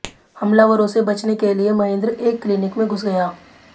हमलावरों से बचने के लिए महेंद्र एक क्लीनिक में घुस गया